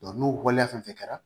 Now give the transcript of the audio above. n'o waleya fɛn fɛn kɛra